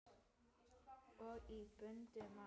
Og í bundnu máli